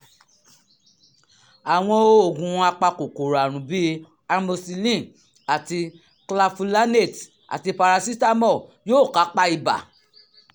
àwọn oògùn apakòkòrò àrùn bíi amoxicillin àti clavulanate àti paracetamol yóò kápá ibà